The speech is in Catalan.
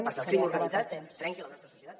perquè el crim organitzat trenqui la nostra societat